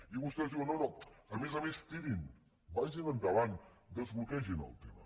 i vostès diuen no no a més a més tirin vagin endavant desbloquegin el tema